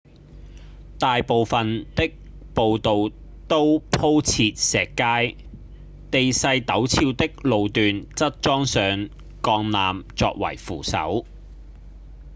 大部分的步道都鋪設石階地勢陡峭的路段則裝上鋼纜作為扶手